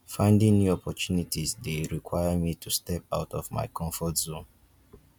finding new opportunities dey require me to step out of my comfort zone